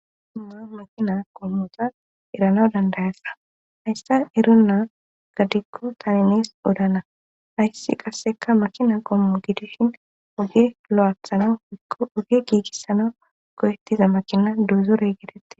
Maa makina qommota erana dandayassa hayssa eruna gadikko tani nees odana ayssi qasseka makina qommo gideshin oge lo7athana wikko oge giigissana goyettiza makina duuzorey gedette